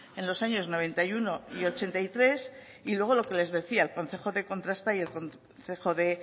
en los años noventa y uno y ochenta y tres y luego lo que les decía el concejo de contrasta y el concejo de